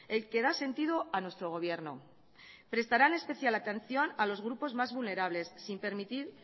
el que da sentido a nuestro gobierno prestarán especial atención a los grupos más vulnerables sin permitir